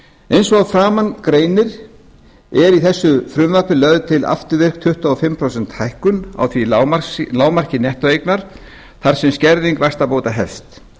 eins og að framan greinir er í þessu frumvarpi lögð til afturvirk tuttugu og fimm prósenta hækkun á því lágmarki nettóeignar þar sem skerðing vaxtabóta hefst